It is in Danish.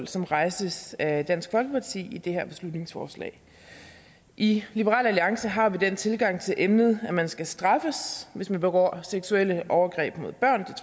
som rejses af dansk folkeparti i det her beslutningsforslag i liberal alliance har vi den tilgang til emnet at man skal straffes hvis man begår seksuelle overgreb mod børn